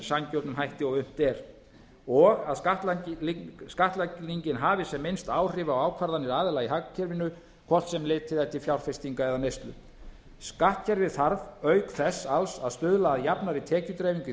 sanngjörnum hætti og unnt eru að skattlagningin hafi sem minnst áhrif á ákvarðanir aðila í hagkerfinu hvort sem litið er til fjárfestinga eða neyslu skattkerfið þarf auk þess alls að stuðla að jafnari tekjudreifingu í